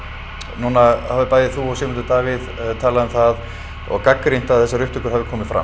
núna hafa bæði þú og Sigmundur Davíð talað um það og gagnrýnt að þessar upptökur hafi komið fram